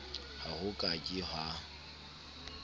ha ho ka ke ha